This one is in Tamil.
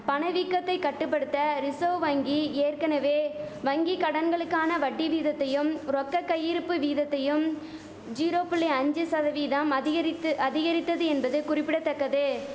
பணவீக்கத்தை கட்டுபடுத்த ரிசர்வ் வங்கி ஏற்கனவே வங்கி கடன்களுக்கான வட்டி வீதத்தையும் ரொக்க கையிருப்பு வீதத்தையும் ஜீரோ புள்ளி அஞ்சி சதவீதம் அதிகரித்து அதிகரித்தது என்பது குறிப்பிட தக்கது